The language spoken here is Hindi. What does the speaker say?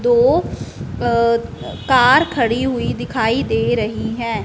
दो अ कार खड़ी हुई दिखाई दे रही है।